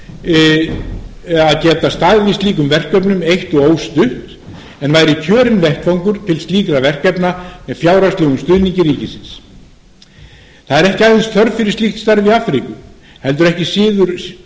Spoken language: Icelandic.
burði að geta staðið í slíkum verkefnum eitt og óstutt en væri kjörinn vettvangur til slíkra verkefna með fjárhagslegum stuðningi ríkisins ekki er aðeins þörf fyrir slíkt starf í afríku heldur ekki síður